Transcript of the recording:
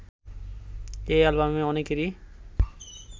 এ অ্যালবামে অনেকেরই